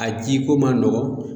A ji ko man nɔgɔ